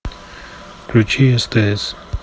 включи стс